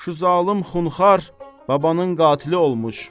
Şu zalım xunxar babanın qatili olmuş.